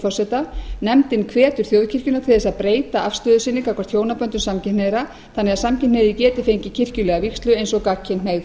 forseta nefndin hvetur þjóðkirkjuna til þess að breyta afstöðu sinni gagnvart hjónaböndum samkynhneigðra þannig að samkynhneigðir geti fengið kirkjulega vígslu eins og gagnkynhneigð